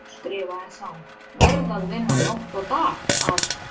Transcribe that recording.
Skrifaði þá: Verð að vinna nótt og dag að